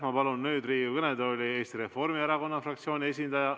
Ma palun Riigikogu kõnetooli Eesti Reformierakonna fraktsiooni esindaja.